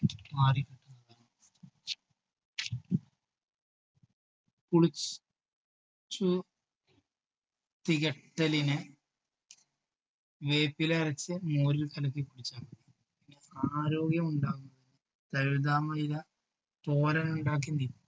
കുളിച്ച് ച്ചു തികട്ടലിന് വേപ്പില അരച്ച് മോരിൽ കലക്കി കുടിച്ചാൽ മതി ആരോഗ്യമുണ്ടാകുന്നതിന് തഴുതാമ ഇല തോരൻ ഉണ്ടാക്കി നി~